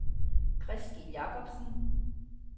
Christel Jakobsen